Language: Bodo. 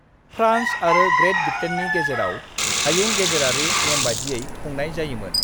फ्रान्स आरो ग्रेट ब्रिटेननि गेजेराव हायुं गेजेरारि नेमबादियै खुंनाय जायोमोन।